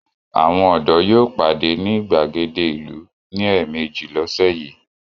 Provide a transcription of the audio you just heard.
Àwọn ọ̀dọ́ yóò pàdé ní ìgbàgede ìlú ní ẹ̀meèjì lọ́sẹ̀ yìí.